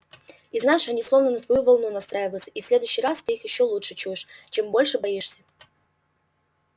из наше они словно на твою волну настраиваются и в следующий раз ты их ещё лучше чуешь чем больше боишься